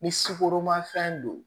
Ni sukoromafɛn don